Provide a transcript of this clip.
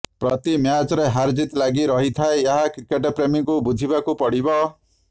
ପ୍ରତି ମ୍ୟାଚ୍ରେ ହାରଜିତ୍ ଲାଗି ରହିଥାଏ ଏହା କ୍ରିକେଟ୍ପ୍ରେମୀଙ୍କୁ ବୁଝିବାକୁ ପଡ଼ିବ